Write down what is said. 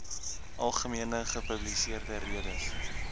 algemene gepubliseerde redes